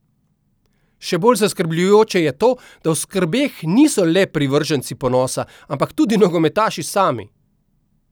Še bolj zaskrbljujoče je to, da v skrbeh niso le privrženci ponosa, ampak tudi nogometaši sami.